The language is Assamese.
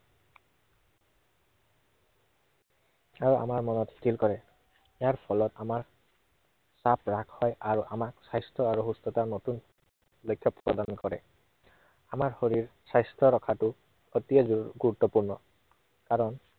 আৰু মন স্থিৰ কৰে। ইয়াৰ ফলত আমাৰ, চাপ হ্ৰাস হয় আৰু আমাৰ স্বাস্থ্য় আৰু সুস্থতাৰ নতুন, লক্ষ্য় প্ৰদান কৰে। আমাৰ শৰীৰ স্বাস্থ্য় ৰখাটো অতি গু~গুৰুত্বপূৰ্ণ। কাৰণ